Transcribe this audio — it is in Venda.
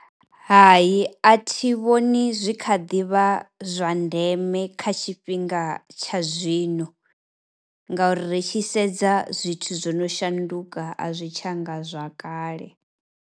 Hai a thi vhoni zwi tshi kha ḓi vha zwa ndeme kha tshifhinga tsha zwino ngauri ri tshi sedza zwithu zwo no shanduka a zwi tsha nga zwa kale.